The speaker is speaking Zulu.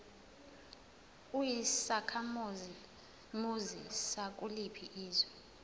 uyisakhamuzi sakuliphi izwe